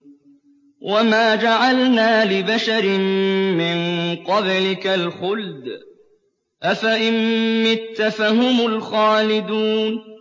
وَمَا جَعَلْنَا لِبَشَرٍ مِّن قَبْلِكَ الْخُلْدَ ۖ أَفَإِن مِّتَّ فَهُمُ الْخَالِدُونَ